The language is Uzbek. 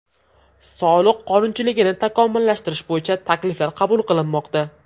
Soliq qonunchiligini takomillashtirish bo‘yicha takliflar qabul qilinmoqda.